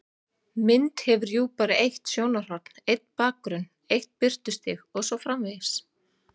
Mynd hefur jú bara eitt sjónarhorn, einn bakgrunn, eitt birtustig og svo framvegis.